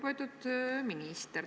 Lugupeetud minister!